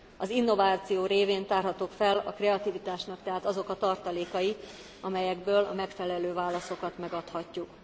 Az innováció révén tárhatók fel a kreativitásnak tehát azok a tartalékai, amelyekből a megfelelő válaszokat megadhatjuk.